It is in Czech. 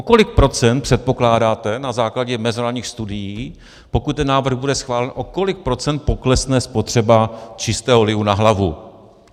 O kolik procent předpokládáte - na základě mezinárodních studií - pokud ten návrh bude schválen, o kolik procent poklesne spotřeba čistého lihu na hlavu?